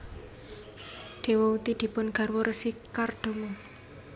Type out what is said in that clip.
Dewahuti dipun garwa Resi Kardama